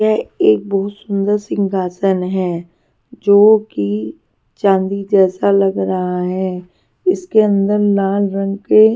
यह एक बहुत सुंदर सिंहासन है जो कि चांदी जैसा लग रहा है इसके अंदर लाल रंग के--